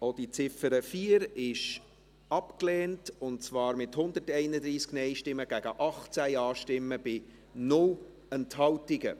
Sie haben die Ziffer 4 als Motion abgelehnt, mit 131 Nein- gegen 18 Ja-Stimmen bei 0 Enthaltungen.